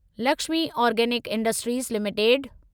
Lakshmi organic industries limited